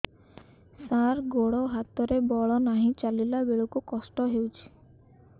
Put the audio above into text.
ସାର ଗୋଡୋ ହାତରେ ବଳ ନାହିଁ ଚାଲିଲା ବେଳକୁ କଷ୍ଟ ହେଉଛି